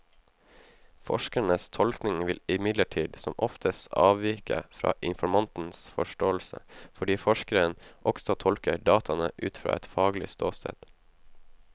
Forskerens tolkning vil imidlertid som oftest avvike fra informantens forståelse, fordi forskeren også tolker dataene ut fra et faglig ståsted.